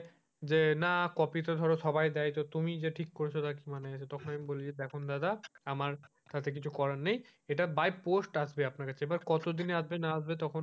যে না কপি তো ধরো সবাই দেয়, তুমি যে ঠিক করেছো, তার কি মানে আছে, তখন বলি যে দেখুন দাদা কিছু করার নেই এটা by post আসবে আপনার কাছে but কতদিনে আসবে তখন,